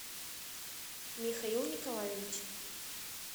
михаил николаевич